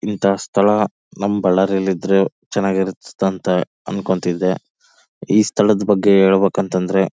ಇಂತ ಸ್ಥಳ ನಮ್ಮ್ ಬಳ್ಳಾರಿ ಅಲ್ಲಿ ಇದ್ರೆ ಚೆನ್ನಾಗಿ ಇರಸ್ತಂತ ಅನ್ಕೊಂತ ಇದ್ದೆ. ಈ ಸ್ಥಳದ ಬಗ್ಗೆ ಹೇಳ್ಬೇಕಂದ್ರೆ--